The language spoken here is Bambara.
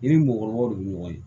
I ni mɔgɔkɔrɔbaw de bɛ ɲɔgɔn ye